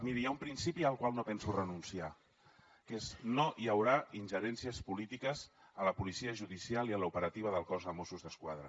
miri hi ha un principi al qual no penso renunciar que és no hi haurà ingerències polítiques a la policia judicial i a l’operativa del cos de mossos d’esquadra